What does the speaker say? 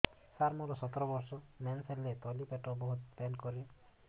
ସାର ମୋର ସତର ବର୍ଷ ମେନ୍ସେସ ହେଲେ ତଳି ପେଟ ବହୁତ ପେନ୍ କରେ